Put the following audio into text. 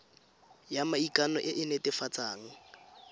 ya maikano e e netefatsang